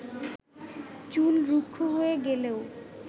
চুল রুক্ষ হয়ে গেলেও